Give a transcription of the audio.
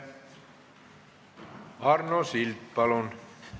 Arno Sild, palun!